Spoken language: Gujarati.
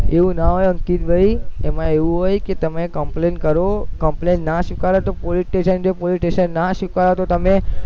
એવું ના હોય અંકિતભાઈ એમાં એવો હોય કે તમે complain કરો complain ના સ્વીકારે તો પોલીસ સ્ટેશને જાઓ, પોલીસ સ્ટેશને ના સ્વીકારે તો તમે